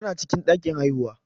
Tana cikin ɗakin haihuwa.